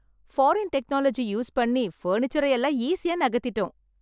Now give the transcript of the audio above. Foreign technology use பண்ணி பர்னிச்சரை எல்லாம் ஈஸியா நகர்த்திட்டோம்.